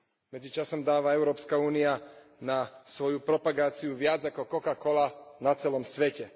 Medzičasom dáva Európska únia na svoju propagáciu viac ako Coca Cola na celom svete.